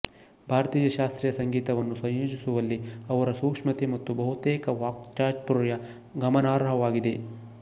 ಭಾರತೀಯ ಶಾಸ್ತ್ರೀಯ ಸಂಗೀತವನ್ನು ಸಂಯೋಜಿಸುವಲ್ಲಿ ಅವರ ಸೂಕ್ಷ್ಮತೆ ಮತ್ತು ಬಹುತೇಕ ವಾಕ್ಚಾತುರ್ಯ ಗಮನಾರ್ಹವಾಗಿದೆ